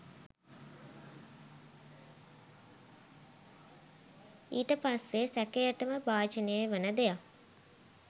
ඊට පස්සේ සැකයටම භාජනය වන දෙයක්